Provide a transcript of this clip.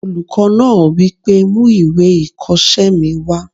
Olùkọ́ náà wí pé "mú ìwé ìkọsẹ́ mi wá!"